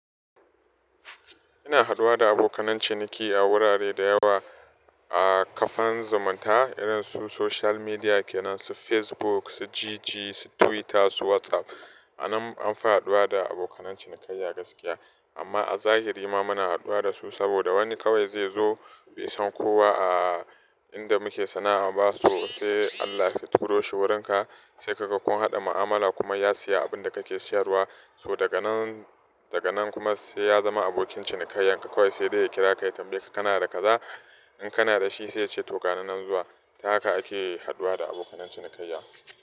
Ina haduwa da abokan ciniki, a wurare da yawa a kafan zumunta, irin su social media, kenan su Facebook, su GG, su Twitter, su WhatsApp. Anan, anfi haduwa da abokan cinikayya gaskiya. Amma a zahiri ma muna haduwa da su saboda wani kawai zai zo, bai san kowa a inda muke sana'ar ba, so sai Allah ya fituro shi wurinka, sai kaga kun haɗa mu'amala kuma ya siya abin da kake siyarwa, So daga nan, daga nan kuma sai ya zama abokin cinikayya In ka kawai sai dai ya kira ka ya tambayi ka kana da kaza,? In kana da shi sai ya ce to ganina nan zuwa. Ta haka ake haduwa da abokan cinikayya.